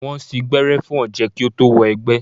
Wọ́n sín gbẹ́rẹ́ fún ọ̀jẹ̀ kí ó tó wọ egbẹ́.